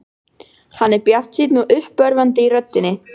Hann er bjartsýnn og uppörvandi í röddinni.